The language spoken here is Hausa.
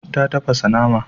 Ta tafasa nama.